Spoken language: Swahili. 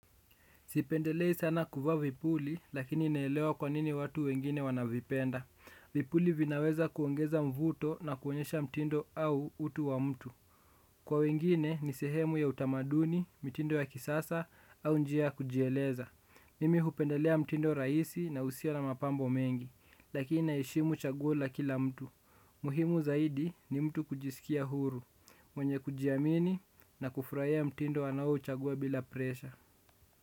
Sipendelei sana kuvaa vipuli, lakini naelewa kwa nini watu wengine wanavipenda. Vipuli vinaweza kuongeza mvuto na kuonyesha mtindo au utu wa mtu. Kwa wengine ni sehemu ya utamaduni, mitindo ya kisasa, au njia kujieleza. Mimi hupendelea mtindo rahisi na usio na mapambo mengi, lakini naheshimu chaguo la kila mtu. Muhimu zaidi ni mtu kujisikia huru, mwenye kujiamini na kufurahia mtindo anaouchagua bila presha.